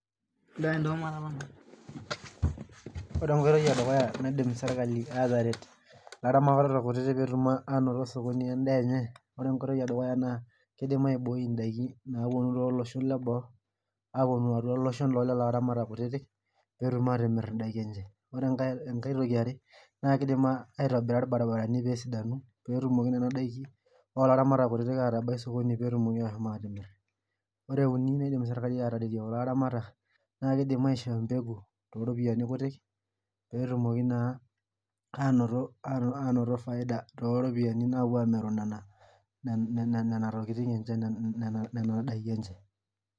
ore enkoitoi edukuya naidim serkali ateret ilaramatak kutitik pee etum anoto osokoni lenye edaa enye, ore enkoitoi edukuya naa kidim aiboi idaikin aiboi idakin naapuonu tolosho leboo atua iloshon loo ilaramatak kutitik pee etum atimir idaki enye ore sii enkae, ore sii enkae kidim aitobira ilbarabarani pee esidanu nena naikin oo ilaramatak kutitik pee etumoki ashom aatimir, ore uni naidim serikali naa kidim aishoo empeku too iropiyiani kutik, pee etum naa anoto faida tenepuo amir nena daki enye.